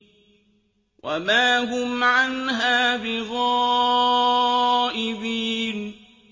وَمَا هُمْ عَنْهَا بِغَائِبِينَ